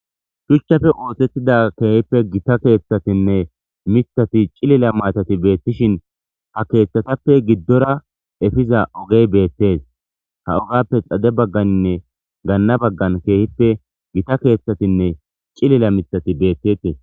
Shuchchafe oosettida keehippe gita keeththatinne mithati cilila maatati beettishin ha keeththatappe giddora efiza ogey beettes ha ogappe xade bagganinne gaanna baggan keehippe gita keeththatinne cilila mithati beettete